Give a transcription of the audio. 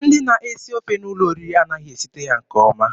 Ndị na-esi ofe n'ụlọ oriri anaghị esite ya nke ọma.